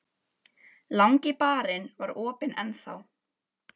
Langi barinn var opinn enn þá.